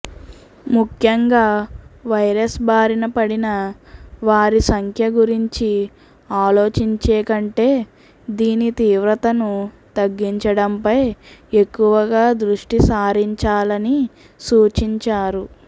ముఖ్యంగా వైరస్ బారిన పడిన వారి సంఖ్య గురించి ఆలోచించేకంటే దీని తీవ్రతను తగ్గించడంపై ఎక్కువగా దృష్టి సారించాలని సూచించారు